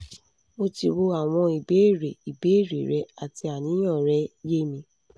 mo ti wo awon ibeere ibeere re ati aniyan re ye mi